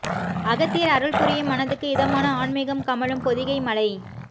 அகத்தியர் அருள் புரியும் மனதுக்கு இதமான ஆன்மிகம் கமழும் பொதிகை மலை